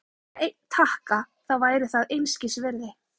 En ef það vantaði bara einn takka, þá væri það einskisvirði.